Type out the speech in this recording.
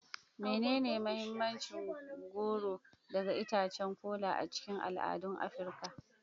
Menene mahimmancin goro daga itacen kola a cikin al'adun Afirka?